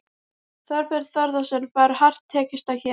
Þorbjörn Þórðarson: Var hart tekist á hér?